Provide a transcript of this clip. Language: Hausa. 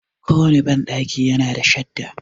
Ko wanne banɗaki ya na da shadda.